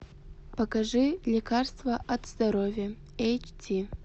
покажи лекарство от здоровья эйч ди